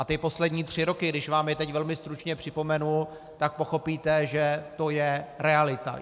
A ty poslední tři roky, když vám je teď velmi stručně připomenu, tak pochopíte, že to je realita.